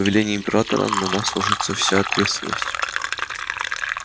по велению императора на нас ложится вся ответственность